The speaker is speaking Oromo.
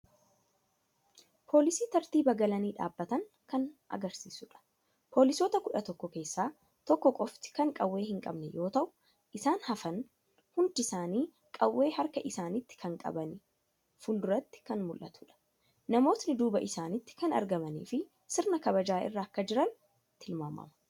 Poolisii tartiiba galanii dhaabbatan kan agarsiisudha. Poolisoota 11 keessaa 1 qofti kan qawwee hin qabne yoo ta'u isaan hafan hundi isaanii qawwee karka isaaniitii kan qabanii fuulduratti kan mul'atuudha. Namootni duuba isaanitti kan argamaniifii sirna kabajaa irra akka jiran tilmaamama.